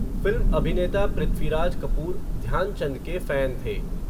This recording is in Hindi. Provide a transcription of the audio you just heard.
फ़िल्म अभिनेता पृथ्वीराज कपूर, ध्यानचंद के फ़ैन थे.